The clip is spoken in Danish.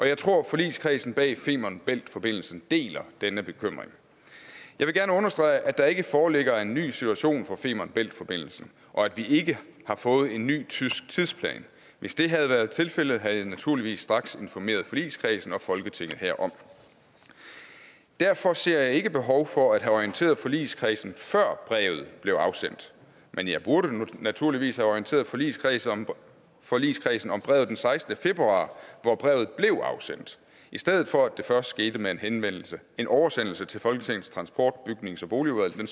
jeg tror at forligskredsen bag femern bælt forbindelsen deler denne bekymring jeg vil gerne understrege at der ikke foreligger en ny situation for femern bælt forbindelsen og at vi ikke har fået en ny tysk tidsplan hvis det havde været tilfældet havde jeg naturligvis straks informeret forligskredsen og folketinget herom derfor ser jeg ikke behov for at have orienteret forligskredsen før brevet blev afsendt men jeg burde naturligvis have orienteret forligskredsen om forligskredsen om brevet den sekstende februar hvor brevet blev afsendt i stedet for at det først skete med en med en oversendelse til folketingets transport bygnings og boligudvalg den